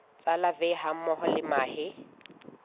tsa larvae hammoho le mahe